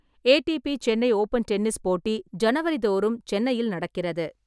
ATP Chennai open tennis போட்டி ஜனவரி தோறும் சென்னையில் நடக்கிறது.